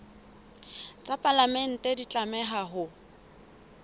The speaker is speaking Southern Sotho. tsa palamente di tlameha ho